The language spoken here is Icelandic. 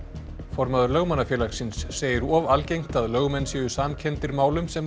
formaður Lögmannafélagsins segir of algengt að lögmenn séu samkenndir málum sem